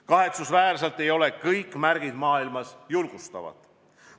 Kahetsusväärselt ei ole kõik märgid maailmas julgustavad.